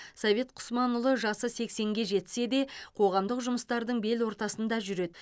совет құсманұлы жасы сексенге жетсе де қоғамдық жұмыстардың бел ортасында жүреді